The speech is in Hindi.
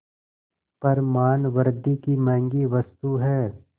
पर मानवृद्वि की महँगी वस्तु है